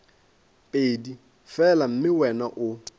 pedi fela mme wena o